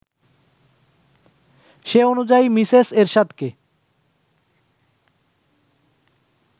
সেই অনুযায়ী মিসেস এরশাদকে